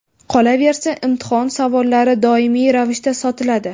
Qolaversa, imtihon savollari doimiy ravishda sotiladi.